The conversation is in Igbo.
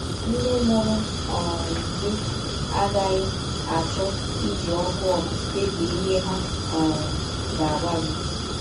Ndị mụrụ um gị agaghị achọ iji ọkụ ọkụ kpebie ihe ha um ga - agwa gị.